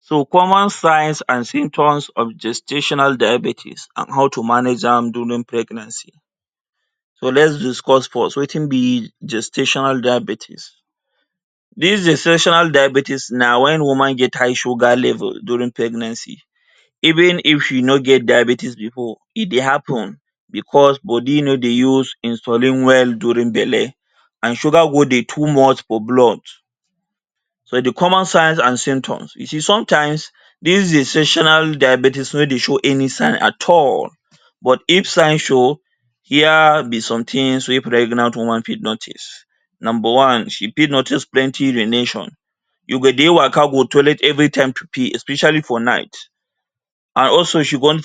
So common signs and symptoms of gestational diabetics and how to manage am during pregnancy. So lets discuss first watin be gestational diabetics? Dis gestational diabetics na wen woman get high sugar level during pregnancy, even if you no get diabetics before e dey happen because body no dey use insulin well during belle and sugar go dey too much for blood. So di common signs and symptoms, you see sometimes dis gestational diabetics no dey show any sign at all but if sign show hia be some tins wey pregnant woman fit notice: number one, she fit notice plenty urination, you go dey waka go toilet evritime to pee especially for night and also she go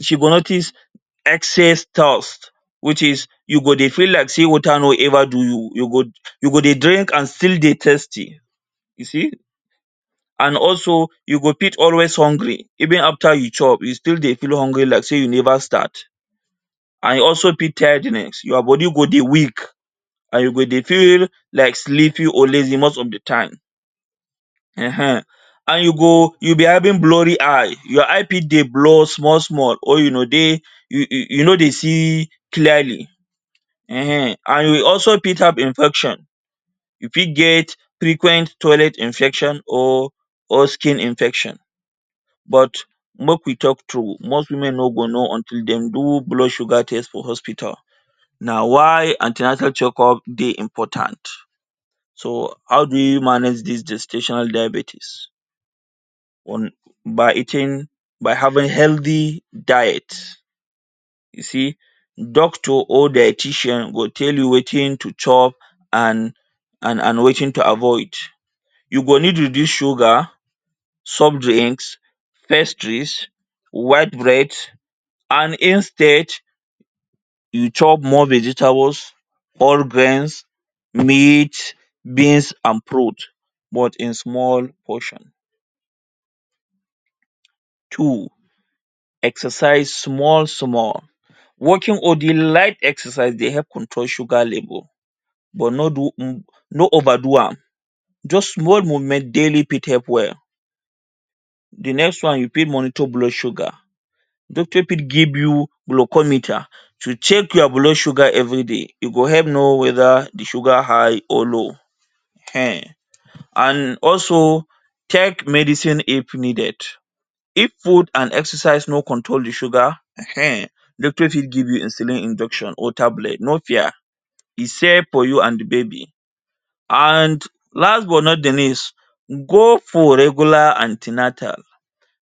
she go notice excess thirst which is you go dey feel like say water no ever do you, you go you go dey drink and still dey thirsty. You see and also you go fit always hungry even after you chop you still dey feel hungry like say you never start and you also feel tiredness, ya body go dey weak and you go dey feel like sleeping always most of di time um and you go you will be having blurry eye, ya eye fit dey blur small small or you no dey you no dey see clearly um and you also fit have infection, you fit get frequent toilet infection or or skin infection but make we talk true most women no go know until dey do blood sugar test for hospital na why an ten atal checkup dey important. So, how do we manage dis gestational diabetics? One by eating by having healthy diet. You see, doctor or dietician go tell you watin to chop and and and watin to avoid you go need to reduce sugar, soft drinks, pastries, white bread and instead you chop more vegetables or beans, meat, beans and prot. but in small portion. Two, exercise small small, walking or doing light exercise dey help control sugar level but no do m no over do am, just one moment daily fit help well. Di next one you fit monitor blood sugar, doctor fit give you glucometer to check ya blood sugar everyday, e go help know weda the sugar high or low um and also take medicine if needed. If food and exercise no control di sugar um doctor fit give you insulin injection or tablet, no fear e safe for you and di baby and last but not di least, go for regular an ten atal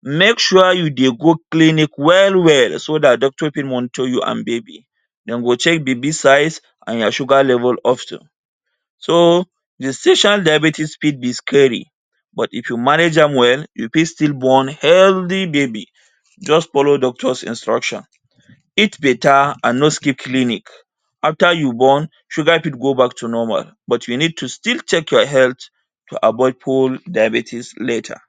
make sure say you dey go clinic well well so dat doctor go for monitor you and baby. Dem go check baby size and ya sugar level also, so gestational diabetics fit be scary but if you manage am well you fit still born healthy baby just follow doctor’s instruction, eat beta and no skip clinic. After you born, sugar fit go back to normal but you need to still check ya health to avoid full diabetics later.